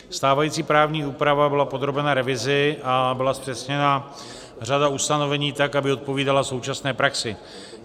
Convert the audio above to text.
Stávající právní úprava byla podrobena revizi a byla zpřesněna řada ustanovení tak, aby odpovídala současné praxi.